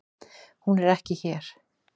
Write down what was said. Hún er ekki hér.